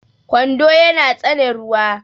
kwando yana tsane ruwa